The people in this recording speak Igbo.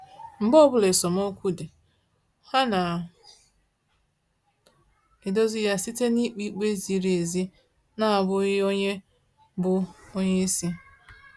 Mgbe ọbụla esemokwu dị, ha na edozi ya site na-ikpe ikpe ziri ezi na abụghị onye bụ onyeisi